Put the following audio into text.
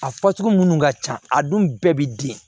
A fasugu munnu ka ca a dun bɛɛ bi den